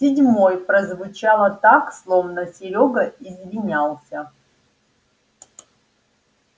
седьмой прозвучало так словно серёга извинялся